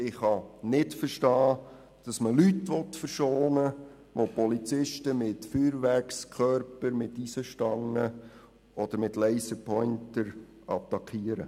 Ich kann nicht verstehen, dass man Leute verschonen will, die Polizisten mit Feuerwerkskörpern, Eisenstangen oder Laserpointern attackieren.